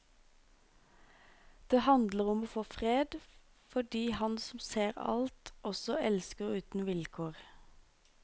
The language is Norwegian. Det handler om å få fred, fordi han som ser alt, også elsker uten vilkår.